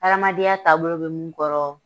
Adamadenya taabolo bɛ mun kɔrɔ